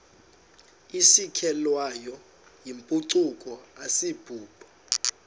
isukelwayo yimpucuko asibubo